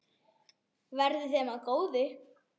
Verði þeim að góðu.